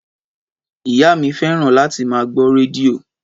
Ìyá mí fẹ́ràn láti má gbó rẹdìo